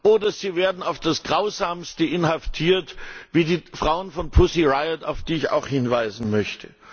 oder sie werden auf das Grausamste inhaftiert, wie die Frauen von Pussy Riot, auf die ich auch hinweisen möchte.